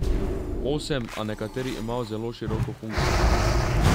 Osem, a nekateri imajo zelo široko funkcijo.